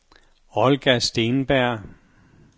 Olga Steenberg